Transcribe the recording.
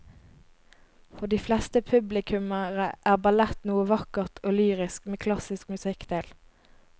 For de fleste publikummere er ballett noe vakkert og lyrisk med klassisk musikk til.